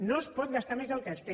no es pot gastar més del que es té